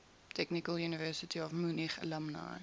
technical university of munich alumni